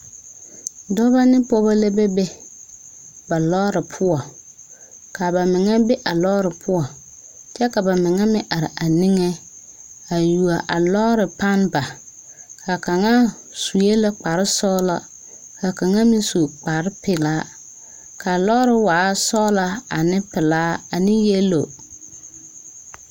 Dɔba ne pɔgeba la be be ba lɔɔre poɔ, kaa a ba mine be a lɔɔre poɔ kyɛ ka ba mine meŋ are a niŋe a yuo a lɔɔre. panne bare,a kaŋa su la kparre sɔglaa ka kaŋa meŋ su kpare pɛlaa kaa lɔɔre waa sɔglaa ane pɛlaa ane doɔre.